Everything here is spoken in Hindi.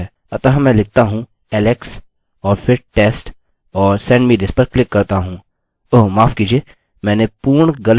अतः मैं लिखता हूँ alex और फिर test और send me this पर क्लिक करता हूँ